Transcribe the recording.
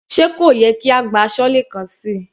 Sé kò yẹ kí a gbá aṣọ́lé kan síi.